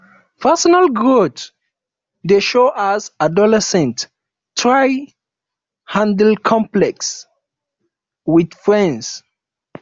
personal growth dey show as adolescents dey try handle conflicts with friends